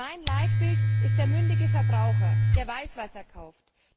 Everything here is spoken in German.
Mein Leitbild ist der mündige Verbraucher, der weiß, was er kauft.